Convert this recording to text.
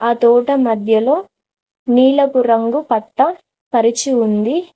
తోట మధ్యలో నీళ్లపు రంగు పట్ట పరిచి ఉంది.